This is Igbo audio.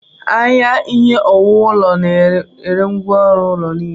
Ahịa Ihe owuwu ụlọ na-ere ngwá ọrụ ụlọ niile.